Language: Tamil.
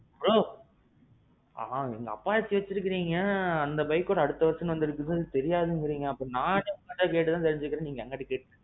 bro? apache வச்சுருக்கிறீங்க அந்த bike ஓட அடுத்த version வந்ததே தெரியாதுங்குறீங்க. அப்போ நானே உங்கட்ட கேட்டு தான் தெரிஞ்சுக்குறேன் நீங்க என்கிட்டே கேக்குறீங்க.